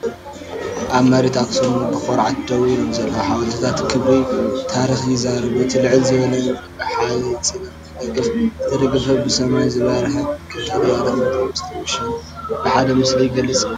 ኣብ መሬት ኣኽሱም ብኹርዓት ደው ኢሎም ዘለዉ ሓወልትታት ክብሪ ታሪኽ ይዛረቡ። እቲ ልዕል ዝበለ እምኒ ብሓጺናዊ ደገፍ ዝተደገፈን ብሰማይ ዝበርህን፤ ቀጠልያ ተፈጥሮን ምስጢር ውርሻን ብሓደ ምስሊ ይግለጽ።